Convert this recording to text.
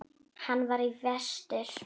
Hann var í vestur.